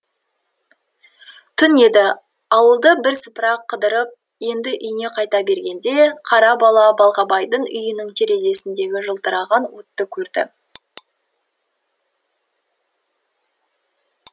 түн еді ауылды бірсыпыра қыдырып енді үйіне қайта бергенде қара бала балғабайдың үйінің терезесіндегі жылтыраған отты көрді